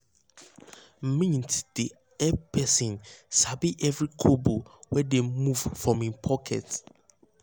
mint um dey help person sabi every kobo wey dey move from him pocket.